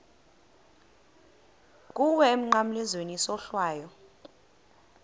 kuwe emnqamlezweni isohlwayo